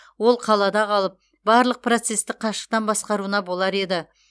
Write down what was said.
ол қалада қалып барлық процесті қашықтан басқаруына болар еді